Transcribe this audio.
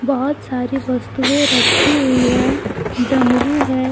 बहोत सारी वस्तुएं रखी हुई है डमरू है।